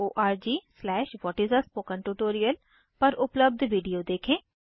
httpspoken tutorialorgव्हाट इस spoken tutorial पर उपलब्ध वीडियो देखें